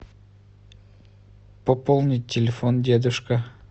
пополнить телефон дедушка